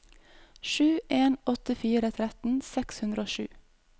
sju en åtte fire tretten seks hundre og sju